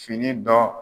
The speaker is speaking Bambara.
Fini dɔ